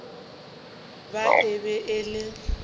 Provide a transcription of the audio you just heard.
ba e be e le